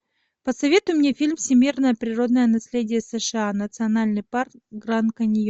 посоветуй мне фильм всемирное природное наследие сша национальный парк гранд каньон